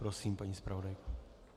Prosím, paní zpravodajko.